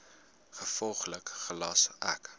gevolglik gelas ek